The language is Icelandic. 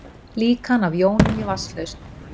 Líkan af jónum í vatnslausn.